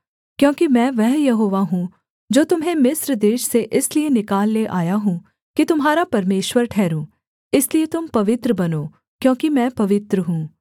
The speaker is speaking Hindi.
क्योंकि मैं वह यहोवा हूँ जो तुम्हें मिस्र देश से इसलिए निकाल ले आया हूँ कि तुम्हारा परमेश्वर ठहरूँ इसलिए तुम पवित्र बनो क्योंकि मैं पवित्र हूँ